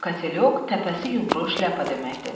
Katelyok təpəsi yumru şləpa deməkdir.